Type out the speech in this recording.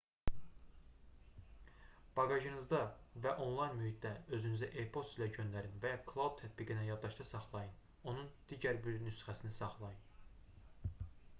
baqajınızda və onlayn mühitdə özünüzə e-poçt ilə göndərin və ya cloud tətbiqində yaddaşda saxlayın onun digər bir nüsxəsini saxlayın